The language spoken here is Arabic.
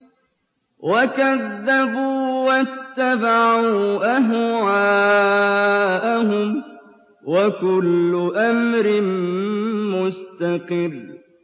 وَكَذَّبُوا وَاتَّبَعُوا أَهْوَاءَهُمْ ۚ وَكُلُّ أَمْرٍ مُّسْتَقِرٌّ